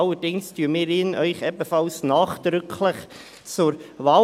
Allerdings empfehlen wir ihn Ihnen ebenfalls nachdrücklich zur Wahl.